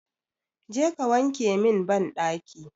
Je ka wanke min banɗaki!